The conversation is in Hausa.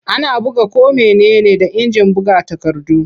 Ana buga ko mene ne da injin buga takardu.